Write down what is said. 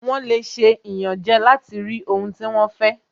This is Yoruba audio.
Wọ́n lè ṣe ìyànjẹ láti rí ohun tí wọ́n fẹ́